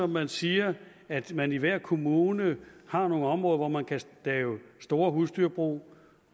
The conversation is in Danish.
man siger at man i hver kommune har nogle områder hvor man kan lave store husdyrbrug